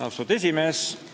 Austatud esimees!